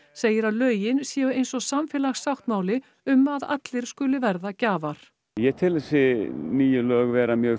segir að lögin séu eins og samfélagssáttmáli um að allir skuli verða gjafar ég tel þessi nýju lög vera mjög